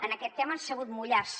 en aquest tema han sabut mullar se